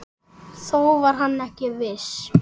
Þó var hann ekki viss.